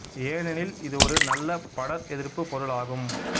ஏனெனில் இது ஒரு நல்ல படர் எதிர்ப்பு பொருள் ஆகும்